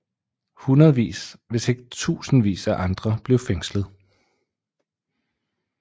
Hundredvis hvis ikke tusindvis af andre blev fængslet